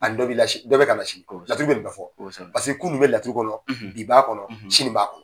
Ani dɔ bi la si . Dɔ bi ka na sini . Laturudala bɛ nin bɛɛ fɔ . kunun bɛ laturu kɔnɔ , bi b'a kɔnɔ , sini b'a kɔnɔ.